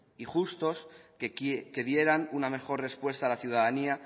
y justos que dieran una mejor respuesta a la ciudadanía